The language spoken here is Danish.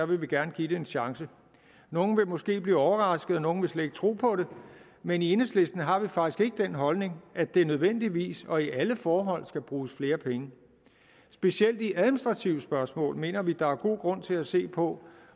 vil vi gerne give det en chance nogle vil måske blive overrasket og nogle vil slet ikke tro på det men i enhedslisten har vi faktisk ikke den holdning at der nødvendigvis og i alle forhold skal bruges flere penge specielt i administrative spørgsmål mener vi der er god grund til at se på